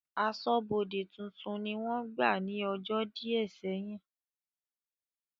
Aṣọ́bọdè tuntun ni wọ́n gbà ní ọjọ́ díẹ̀ sẹ́yìn